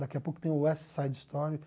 Daqui a pouco tem o West Side Story.